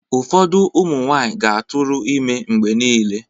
Ụfọdụ ụmụ nwaanyị ga-atụrụ ime mgbe niile.